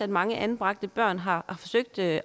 mange anbragte børn har forsøgt at